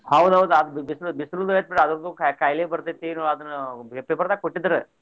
ಹೌದ್ ಹೌದ್ ಅದ್ ಬಿಸಲ ಬಿಸಲದು ಐತಿ ಬಿಡು ಅದರ್ದು ಖಾ~ ಖಾಯಿಲೆ ಬರ್ತೆತಿ ಇನ್ನು ಅದನ್ paper ದಾಗ ಕೊಟ್ಟಿದ್ರ.